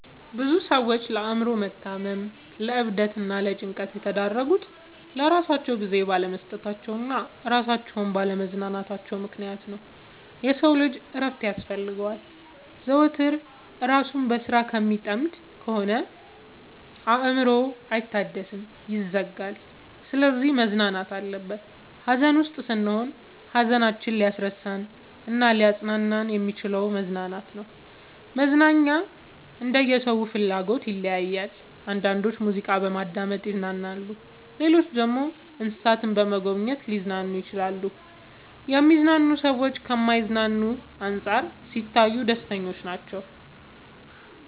ብዙ ሰዎች ለአእምሮ መታመም ለዕብደት እና ለጭንቀት የተዳረጉት ለራሳቸው ጊዜ ባለመስጠታቸው እና እራሳቸውን ባለ ማዝናናታቸው ምክንያት ነው። የሰው ልጅ እረፍት ያስፈልገዋል። ዘወትር እራሱን በስራ ከሚጠምድ ከሆነ አእምሮው አይታደስም ይዝጋል። ስለዚህ መዝናናት አለበት። ሀዘን ውስጥ ስንሆን ሀዘናችንን ሊያስረሳን እናሊያፅናናን የሚችለው መዝናናት ነው። መዝናናኛ እንደየ ሰው ፍላጎት ይለያያል። አንዳንዶች ሙዚቃ በማዳመጥ ይዝናናሉ ሌሎች ደግሞ እንሰሳትን በመጎብኘት ሊዝናኑ ይችላሉ። የሚዝናኑ ሰዎች ከማይዝናኑት አንፃር ሲታዩ ደስተኞች ናቸው።